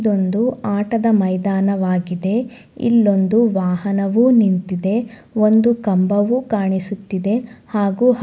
ಇದೊಂದು ಆಟದ ಮೈದಾನವಾಗಿದೆ. ಇಲ್ಲೊಂದು ವಾಹನವೂ ನಿಂತಿದೆ. ಒಂದು ಕಂಬವೂ ಕಾಣಿಸುತ್ತಿದೆ ಹಾಗು--